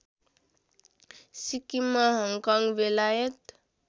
Sikkim Hong Kong बेलायत